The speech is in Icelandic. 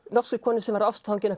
norskri konu sem var ástfangin af